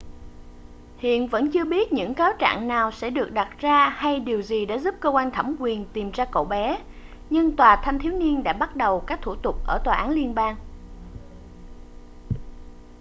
hiện vẫn chưa biết những cáo trạng nào sẽ được đặt ra hay điều gì đã giúp cơ quan thẩm quyền tìm ra cậu bé nhưng tòa thanh thiếu niên đã bắt đầu các thủ tục ở tòa án liên bang